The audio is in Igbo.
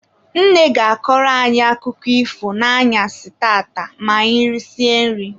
Nne ga-akọrọ anyị akụkọ ifo n'anyasị tata ma anyị risie nri.